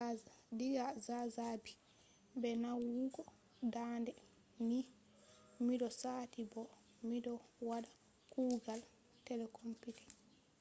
diga zazzabi be nawugo dande ni mido sati bo mido wada kuugal telecomputing